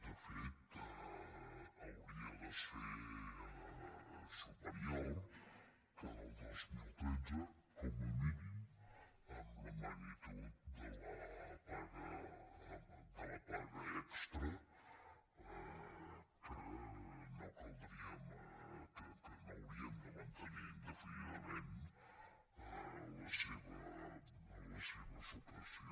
de fet hauria de ser superior que el del dos mil tretze com a mínim amb la magnitud de la paga extra de la qual no hauríem de mantenir indefinidament la seva supressió